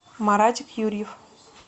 маратик юрьев